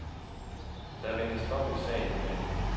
Der ventes dom i sagen i dag.